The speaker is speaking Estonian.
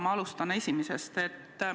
Ma alustan esimesest.